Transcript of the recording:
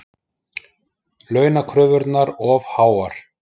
Launakröfurnar of háar